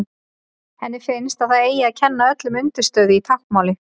Henni finnst að það eigi að kenna öllum undirstöðu í táknmáli.